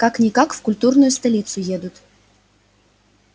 как-никак в культурную столицу едут